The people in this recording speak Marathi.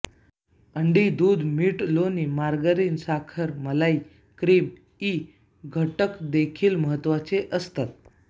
अंडी दूध मीठ लोणी मार्गारीन साखर मलई क्रीम इ घटक देखील महत्वाचे असते